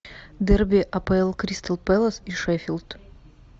дерби апл кристал пэлас и шеффилд